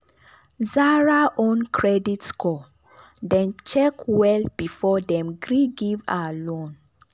zara own credit score dem check well before dem gree give her loan.